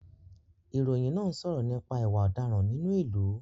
Ìròyìn náà ń sọ̀rọ̀ nípa ìwà ọ̀daràn nínú ìlú